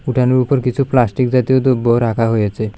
উঠানের উপর কিছু প্লাস্টিক জাতীয় দ্রব্য রাখা হয়েছে।